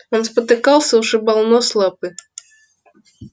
он спотыкался ушибал нос лапы